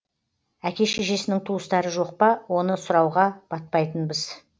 әке шешесінің туыстары жоқ па оны сұрауға батпайтынбыз